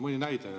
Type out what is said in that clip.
Mõni näide.